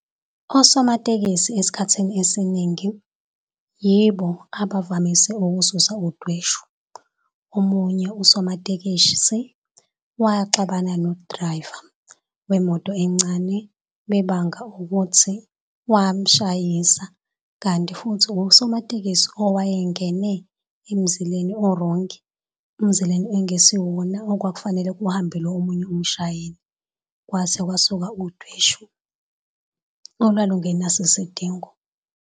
Osomatekisi esikhathini esiningi yibo abavamise ukususa udweshu. Omunye usomatekisi waxabana nodilayiva wemoto encane bebanga ukuthi wamshayisa, kanti futhi usomatekisi owayengene emzileni orongi emzileni ekungesiwona okwakufanele kuhambe lowo munye umshayeli kwase kwasuka udweshu olwalungenaso isidingo.